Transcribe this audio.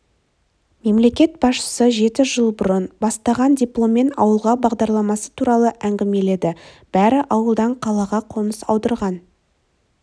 мемлекет басшысы жеті жыл бұрын басталған дипломмен ауылға бағдарламасы туралы әңгімеледі бәрі ауылдан қалаға қоныс аударған